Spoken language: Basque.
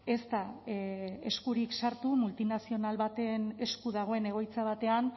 ez da eskurik sartu multinazional baten esku dagoen egoitza batean